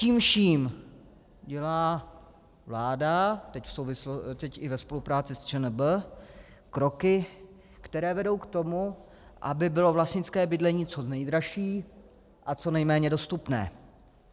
Tím vším dělá vláda teď i ve spolupráci s ČNB kroky, které vedou k tomu, aby bylo vlastnické bydlení co nejdražší a co nejméně dostupné.